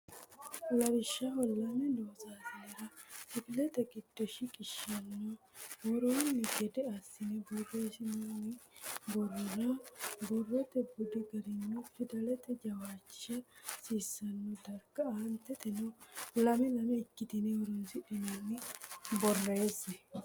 Lawishshaho lame loossinore kifilete giddo shiqishshanno woroonni gede assi borreessitinanni borrora borrote budi garinni fidalete jawishsha hasiisanno darga Aanteteno lame lame ikkitine horoonsidhinanni borreesse.